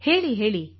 ಹೇಳಿ ಹೇಳಿ